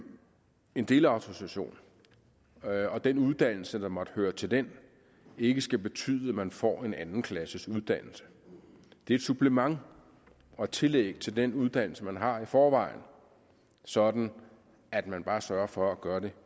en delautorisation og den uddannelse der måtte høre til den ikke skal betyde at man får en andenklasses uddannelse det er et supplement og et tillæg til den uddannelse man har i forvejen sådan at man bare sørger for at gøre det